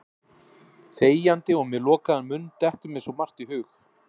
Þegjandi og með lokaðan munn dettur mér svo margt í hug.